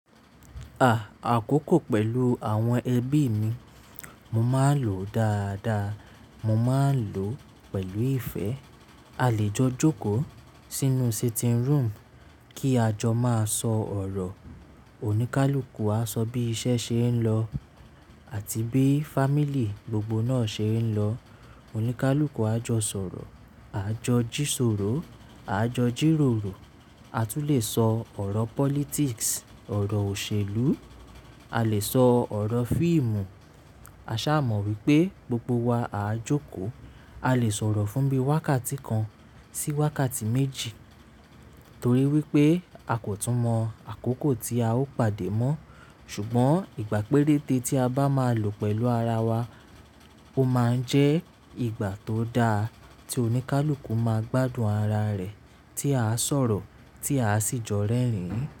À, àkókò pẹ̀lú àwọn ẹbí mi, mo máa ń lò dáadáa, mo máa ń lò pẹ̀lú ìfẹ́. A lè jọ jókòó sínú sitting room kí a jọ máa sọ ọ̀rọ̀. Òníkálukú á sọ bí iṣẹ́ ṣe ń lọ àti bí family gbogbo náà ṣe ń lọ. Òníkálukú á jọ sọ̀rọ̀, àa jọ jíṣòrò, à jọ jìròrò. A tún lè sọ ọ̀rọ̀ politics, ọ̀rọ̀ òṣèlú, a lè sọ ọ̀rọ̀ fíìmù. A ṣà mọ̀ wípé gbogbo wa à jókòó. A lè sọ̀rọ̀ fúnbi wákàtí kan sí wákàtí méjì torí wípé a kò tún mọ àkókò tí a ó pàdé mọ́. Ṣùgbọ́n ìgbà péréte tí a bá máa lò pẹ̀lú ara wa ó máa ń jẹ́ ìgbà tó da tí oníkálukú máa gbádùn ara rẹ̀ tí a á sọ̀rọ̀ tí a sì jọ́ rẹ́rìn.